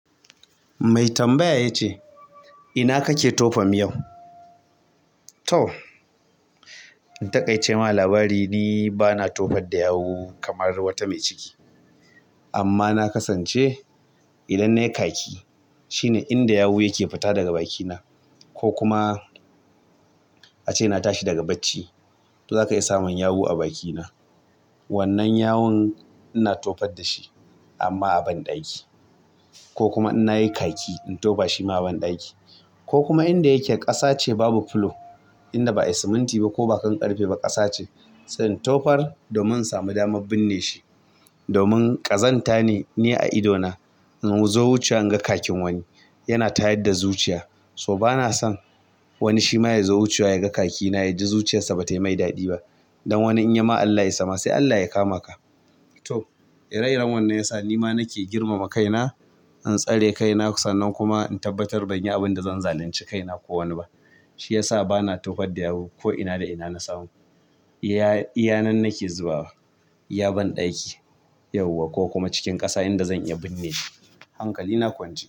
Mai tambaya ya ce, "ina kake tofa miyar?" To, in taƙaice ma labari ni bana tofar da yawu kamar wata mai ciki. Amma na kasance idan nayi khaki, shine inda yawu yake fita daga bakina ko kuma ace na tashi daga bacci, to za ka iya samun yawu a bakina. Wannnan yawun ina tofar da shi amma a banɗaki. Ko kuma in nayi kaki, in tofa shi ma a banɗaki. Ko kuma inda yake ƙasa ce babu fulo, inda ba a yi siminti ba ko baka ƙarfe ba ƙasa ce, zan tofar domin samun dama binne shi. Domin ƙazanta ne, ni a idona in zo wucewa in ga khakin wani yana tayar da zuciya, so bana son wani shi ma ya zo wucewa ya ga khakina ya ji zuciyarsa ba ta yi mai daɗi ba. Ai wani idan yayima Allah ya isa sai Allah yakama ka. To, ire-iren wannan ya sa ni ma nake girmama kaina, in tsare kaina sannan kuma in tabbatar ban yi abin da zan zalunci kaina ko wani ba. Shi ya sa bana tofar da yawu ko ina da ina na samu. Iya, iyanan nake zubawa, iya banɗaki yauwa ko kuma cikin ƙasa inda zan iya binne shi. Hankali na kwance.